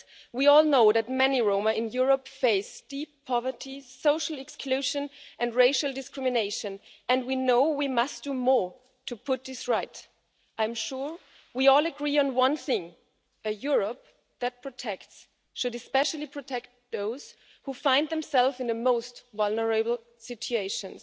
We all know that many Roma in Europe face deep poverty, social exclusion and racial discrimination and we know we must do more to put this right. I am sure we all agree on one thing a Europe that protects should especially protect those who find themselves in the most vulnerable situations.